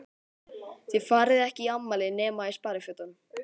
Þið farið ekki í afmæli nema í sparifötunum.